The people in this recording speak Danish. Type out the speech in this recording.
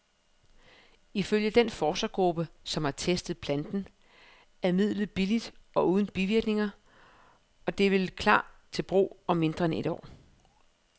Ifølge den forskergruppe, som har testet planten, er midlet billigt og uden bivirkninger, og det vil klar til brug om mindre end et år.